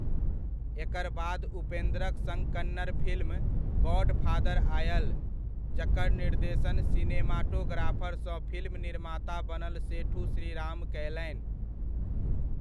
एकर बाद उपेन्द्रक सङ्ग कन्नड़ फिल्म गॉडफादर आयल, जकर निर्देशन सिनेमाटोग्राफरसँ फिल्म निर्माता बनल सेठू श्रीराम कयलनि।